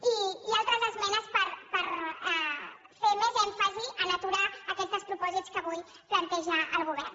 i altres esmenes per fer més èmfasi a aturar aquests despropòsits que avui planteja el govern